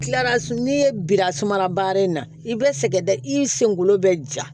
Tilara n'i ye bira sumala baara in na i bɛ sɛgɛn da i senkolo bɛ ja